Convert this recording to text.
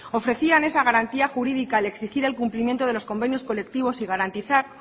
ofrecían esa garantía jurídica al exigir el cumplimiento de los convenios colectivos y garantizar